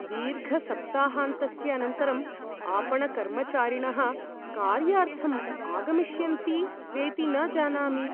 दीर्घसप्ताहान्तस्य अनन्तरम् आपणकर्मचारिणः कार्यार्थम् आगमिष्यन्ति वेति न जानामि।